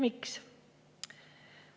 Miks?